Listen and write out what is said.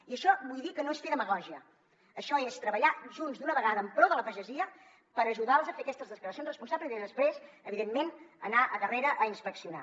i això vull dir que no és fer demagògia això és treballar junts d’una vegada en pro de la pagesia per ajudar los a fer aquestes declaracions responsables i després evidentment anar a darrere a inspeccionar